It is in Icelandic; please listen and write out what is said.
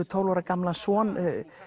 son